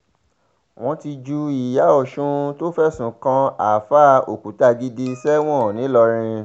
wọ́n ti ju ìyá ọ̀sùn tó fẹ̀sùn kan àáfàá òkútagídí sẹ́wọ̀n ńìlọrin